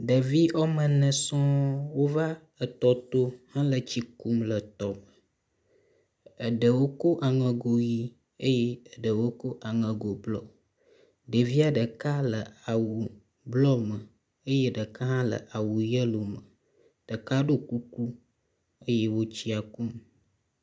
Ɖevi wome ene sɔ̃ɔ wova tɔ to hele tsi kum le tɔ me. Ɖewo go aŋego ʋie eye ɖewo ko aŋego blɔ. Ɖevia ɖeka le awu blɔ me eye ɖeka hã le awu yelo me. Ɖeka ɖo kuku eye wo tsia kum.